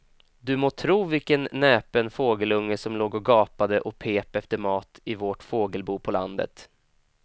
Du må tro vilken näpen fågelunge som låg och gapade och pep efter mat i vårt fågelbo på landet.